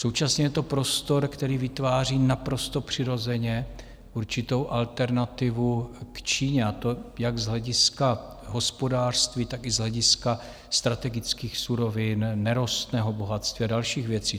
Současně je to prostor, který vytváří naprosto přirozeně určitou alternativu k Číně, a to jak z hlediska hospodářství, tak i z hlediska strategických surovin, nerostného bohatství a dalších věcí.